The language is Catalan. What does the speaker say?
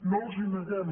no els hi neguem